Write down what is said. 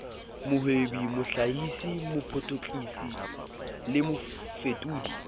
mohwebi mohlahisi mopotlakisi le mofetodi